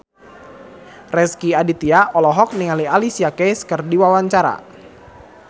Rezky Aditya olohok ningali Alicia Keys keur diwawancara